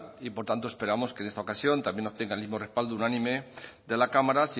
y por tanto esperamos que en esta ocasión también obtenga el mismo respaldo unánime de la cámara